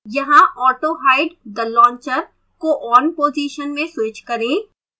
यहाँ autohide the launcher को on position में switch करें